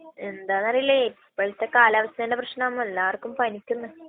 എന്താണെന്നറിയില്ലേയ്. ഇപ്പോഴത്തെ കാലാവസ്ഥന്റെ പ്രശ്നം ആണ്. എല്ലാവർക്കും പനിക്കുന്നുണ.